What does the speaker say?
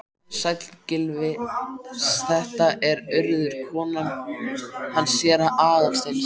Sæll, Gylfi, þetta er Urður, konan hans séra Aðal steins.